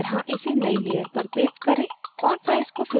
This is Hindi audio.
* दिखाए गए की तरह इसे नयी layer पर paste करें